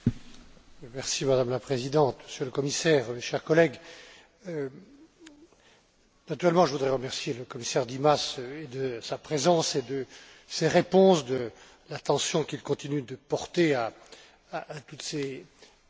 Madame la Présidente, Monsieur le Commissaire, chers collègues, naturellement, je voudrais remercier le commissaire Dimas de sa présence, de ses réponses et de l'attention qu'il continue de porter à toutes ces catastrophes.